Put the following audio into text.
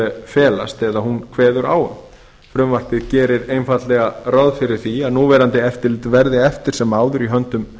felast eða hún kveður á um frumvarpið gerir einfaldlega ráð fyrir að núverandi eftirlit verði eftir sem áður í höndum